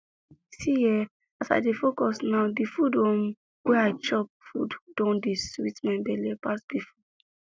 see eh as i dey focus now di food um wey i chop food don dey sweet my belle pass before